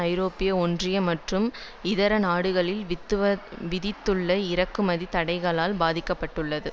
ஐரோப்பிய ஒன்றிய மற்றும் இதர நாடுகள் விதித்துள்ள இறக்குமதி தடைகளால் பாதிக்க பட்டுள்ளது